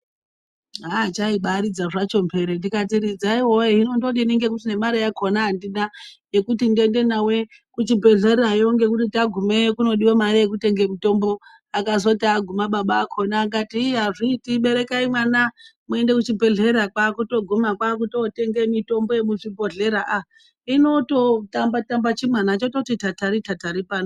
Haaa chaibaridza zvacho mhere ndikati ridzai woye hino ndodini ngekuti nemare yakona andina yekuti ndiende nawo kuchibhedhlerayo ngekuti tagumeyo kudyiwa mare yekutenge mutombo , akazoti aguma baba akona akat iiii azviiti berekai mwana muende kuchibhedhlera kwakutoguma kwakutotenge mitombo yemuzvibhodhlera aaa inototamba tamba chimwana chototi tatari tatari pano.